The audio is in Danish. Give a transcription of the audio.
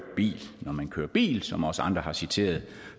bil når man kører bil som også andre har citeret